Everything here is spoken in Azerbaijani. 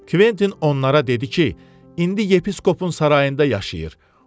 Kventin onlara dedi ki, indi yepisqopun sarayında yaşayır.